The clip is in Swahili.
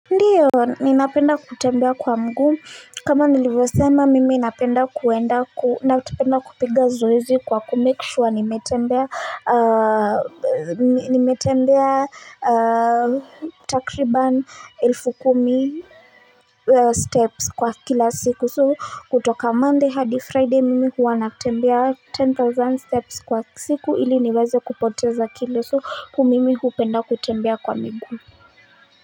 Ndio ninapenda kutembea kwa mguu kama nilivyo sema mimi napenda kuenda kupiga zoezi kwa ku make sure nimetembea takriban elfu kumi steps kwa kila siku so kutoka monday hadi friday mimi huwa natembea ten thousand steps kwa siku ili niweze kupoteza kilo so mimi hupenda kutembea kwa miguu.